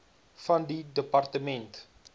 van die departement